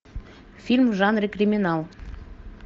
фильм в жанре криминал